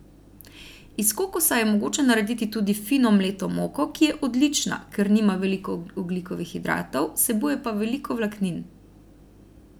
Iz kokosa je mogoče narediti tudi fino mleto moko, ki je odlična, ker nima veliko ogljikovih hidratov, vsebuje pa veliko vlaknin.